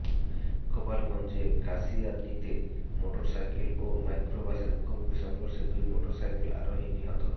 গোপালগঞ্জে কাশিয়ানীতে motor cycle ও মাইক্রোবাসের মুখোমুখি সংঘর্ষে দুই মোটরসাইকেল আরোহী নিহত